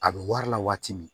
A bɛ wari la waati min